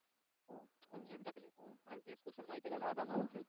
Question माहिती आहे का दहा दहा मार्क्सचे होते.